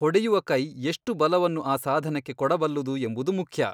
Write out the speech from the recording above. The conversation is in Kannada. ಹೊಡೆಯುವ ಕೈ ಎಷ್ಟು ಬಲವನ್ನು ಆ ಸಾಧನಕ್ಕೆ ಕೊಡಬಲ್ಲುದು ಎಂಬುದು ಮುಖ್ಯ.